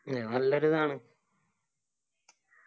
നല്ലൊരു ഇതാണ്